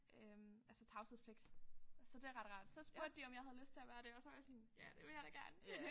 Øh altså tavshedspligt så det ret rart så spurgte de om jeg havde lyst til at være det og så var jeg sådan ja det vil jeg da gerne